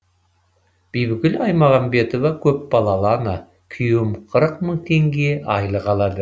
бибігүл аймағамбетова көпбалалы ана күйеуім қырық мың теңге айлық алады